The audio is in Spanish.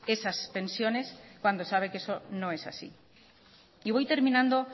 esas pensiones cuando sabe que eso no es así y voy terminando